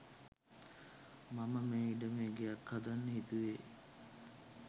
මම මේ ඉඩමේ ගෙයක්‌ හදන්න හිතුවේ